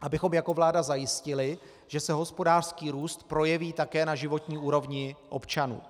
abychom jako vláda zajistili, že se hospodářský růst projeví také na životní úrovni občanů.